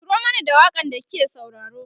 turo Mani da waƙan da kike sauraro